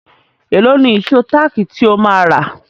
Èló ni ìṣó táàkì tí ó máa rà?